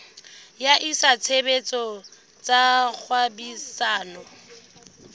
wa etsa tshebetso tsa kgwebisano